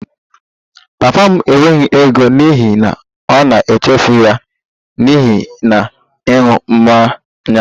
Papa m enweghị ego n'ihi na ọ na-emefu ya niile na ịṅụ mmanya